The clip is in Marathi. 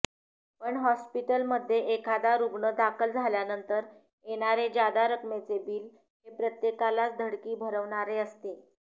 पण हाॅस्पिटलमध्ये एखादा रुग्ण दाखल झाल्यानंतर येणारे जादा रकमेचे बिल हे प्रत्येकालाच धडकी भरवणारे असते